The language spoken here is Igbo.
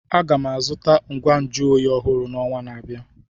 Aga m azụta ngwa nju oyi ọhụrụ n'ọnwa na-abịa.